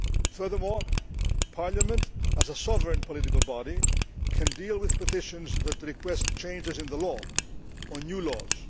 Furthermore, Parliament as a sovereign political body can deal with petitions that request changes in the law, or new laws.